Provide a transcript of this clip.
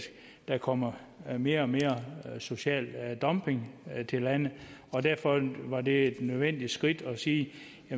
der kommer mere og mere social dumping til landet og derfor var det et nødvendigt skridt at sige